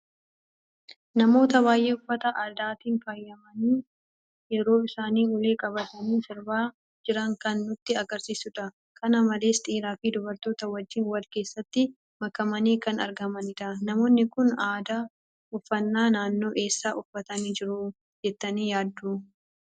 Namoota baay'ee uffata Aadaatiin faayamani yeroo isaan ulee qabatani sirbaa jiran kan nutti agarsiisuudha. kan malees dhiiraa fi dubartoota wajjiin wal keessatti makamani kan argamanidha. Namoonni kun aadaa uffanna naannoo eessa uffatani jiru jettani yaaddu?